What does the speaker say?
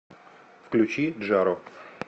включи джаро